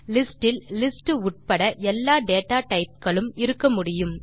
list இல் list உள்பட எல்லா டேட்டா டைப் களும் இருக்கமுடியும்